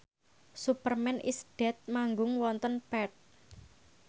Superman is Dead manggung wonten Perth